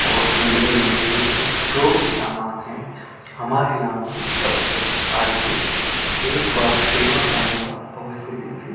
और tailoring material की जो भी सामान है हमारे यहां पर उपलब्ध है आइए एक बार सेवा का मौका अवश्य दीजिए।